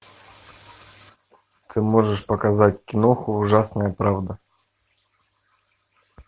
ты можешь показать киноху ужасная правда